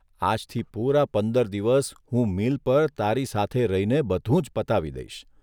આજથી પૂરા પંદર દિવસ હું મિલ પર તારી સાથે રહીને બધું જ પતાવી દઇશ.